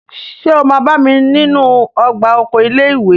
Ṣé o máa bá mi nínú ọgbà oko ilé ìwé?